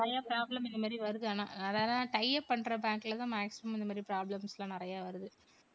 நிறைய problem இந்த மாதிரி வருது ஆனா. tie up பண்ற bank ல தான் maximum இந்த மாதிரி problems லாம் நிறைய வருது.